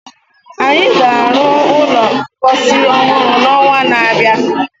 Anyị ga-arụ ụlọ mposi ọhụrụ n'ọnwa na-abịa.